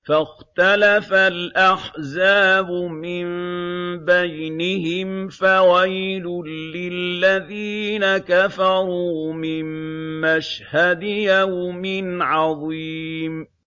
فَاخْتَلَفَ الْأَحْزَابُ مِن بَيْنِهِمْ ۖ فَوَيْلٌ لِّلَّذِينَ كَفَرُوا مِن مَّشْهَدِ يَوْمٍ عَظِيمٍ